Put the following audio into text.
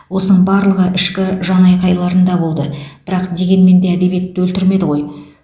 осының барлығы ішкі жанайқайларында болды бірақ дегенмен де әдебиетті өлтірмеді ғой